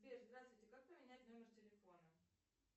сбер здравствуйте как поменять номер телефона